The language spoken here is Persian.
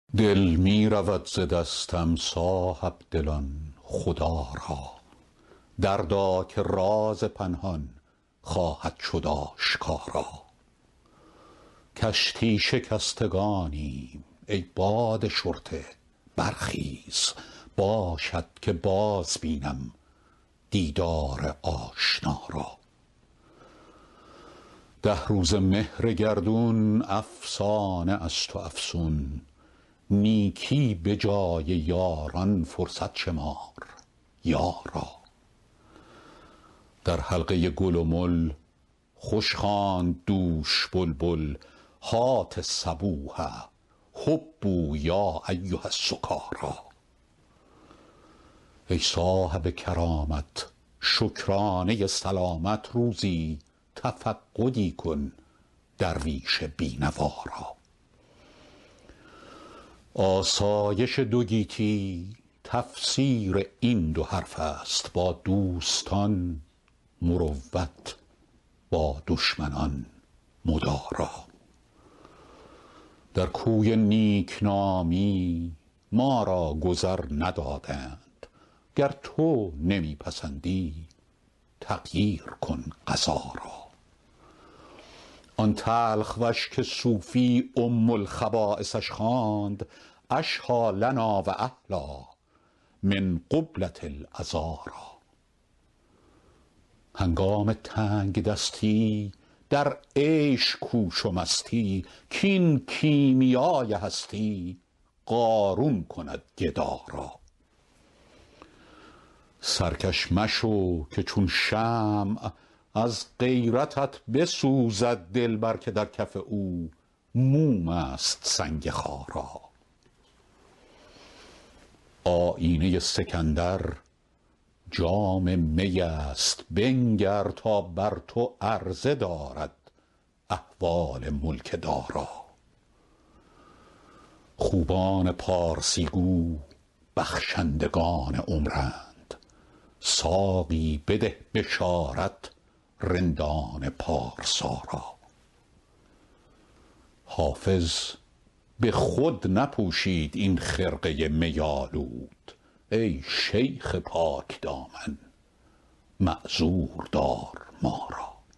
دل می رود ز دستم صاحب دلان خدا را دردا که راز پنهان خواهد شد آشکارا کشتی شکستگانیم ای باد شرطه برخیز باشد که باز بینم دیدار آشنا را ده روزه مهر گردون افسانه است و افسون نیکی به جای یاران فرصت شمار یارا در حلقه گل و مل خوش خواند دوش بلبل هات الصبوح هبوا یا ایها السکارا ای صاحب کرامت شکرانه سلامت روزی تفقدی کن درویش بی نوا را آسایش دو گیتی تفسیر این دو حرف است با دوستان مروت با دشمنان مدارا در کوی نیک نامی ما را گذر ندادند گر تو نمی پسندی تغییر کن قضا را آن تلخ وش که صوفی ام الخبایثش خواند اشهیٰ لنا و احلیٰ من قبلة العذارا هنگام تنگ دستی در عیش کوش و مستی کاین کیمیای هستی قارون کند گدا را سرکش مشو که چون شمع از غیرتت بسوزد دلبر که در کف او موم است سنگ خارا آیینه سکندر جام می است بنگر تا بر تو عرضه دارد احوال ملک دارا خوبان پارسی گو بخشندگان عمرند ساقی بده بشارت رندان پارسا را حافظ به خود نپوشید این خرقه می آلود ای شیخ پاک دامن معذور دار ما را